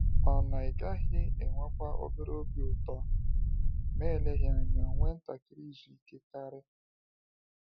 Ọ̀ na ịgaghị enwekwa obere obi ụtọ, ma eleghị anya nwee ntakịrị izu ike karị?